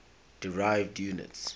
derived units